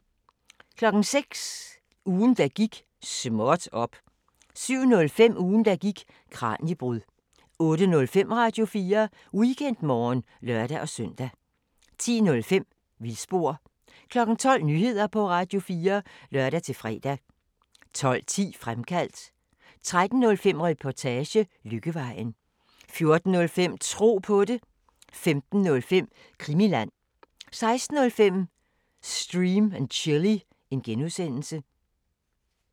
06:00: Ugen der gik: Småt op! 07:05: Ugen der gik: Kraniebrud 08:05: Radio4 Weekendmorgen (lør-søn) 10:05: Vildspor 12:00: Nyheder på Radio4 (lør-fre) 12:10: Fremkaldt 13:05: Reportage: Lykkevejen 14:05: Tro på det 15:05: Krimiland 16:05: Stream & Chill (G)